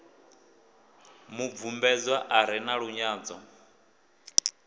mubvumbedzwa a re na lunyadzo